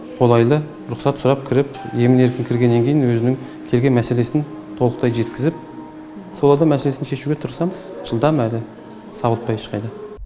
қолайлы рұқсат сұрап кіріп емін еркін кіргеннен кейін өзінің келген мәселесін толықтай жеткізіп солардың мәселесін шешуге тырысамыз жылдам әрі сабылтпай ешқайда